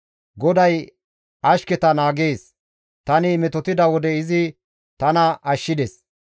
GODAY ashketa naagees; tani metotida wode izi tana ashshides.